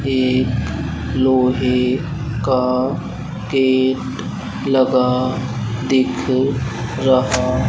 एक लोहे का गेट लगा दिख रहा--